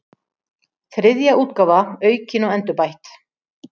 Þriðja útgáfa aukin og endurbætt.